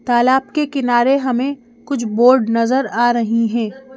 तालाब के किनारे हमें कुछ बोर्ड नजर आ रही हैं।